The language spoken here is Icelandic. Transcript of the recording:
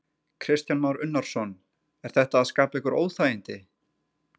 Kristján Már Unnarsson: Er þetta að skapa ykkur óþægindi?